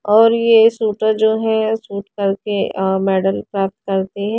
और यह शूटर जो है शूट करके अ मैडल प्राप्त करते हैं।